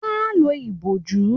Wọ́n á lo ìbòjú